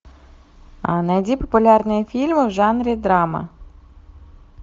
найди популярные фильмы в жанре драма